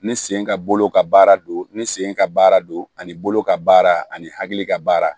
Ni sen ka bolo ka baara don ni sen ka baara don ani bolo ka baara ani hakili ka baara